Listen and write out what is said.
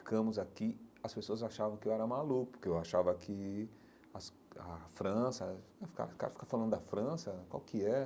Ficamos aqui, as pessoas achavam que eu era maluco, que eu achava que as a França, o cara fica falando da França, qual que é?